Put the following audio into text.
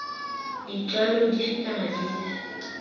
b ditlwaelo dife kana dife